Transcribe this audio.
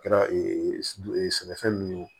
Kɛra sɛnɛfɛn min ye o